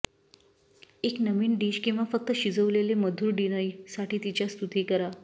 एक नवीन डिश किंवा फक्त शिजवलेले मधुर डिनर साठी तिच्या स्तुती करा